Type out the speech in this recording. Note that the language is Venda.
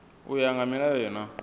u ya nga milayo na